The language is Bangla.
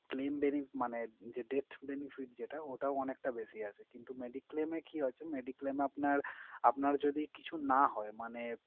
claim bene মানে যে debt benefit যেটা ওটা অনেকটা বেশি আছে। কিন্তু mediclaim এ কি আছে? mediclaim এ আপনার আপনার যদি কিছু না হয় মানে,